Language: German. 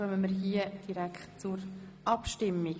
Somit kommen wir direkt zur Abstimmung.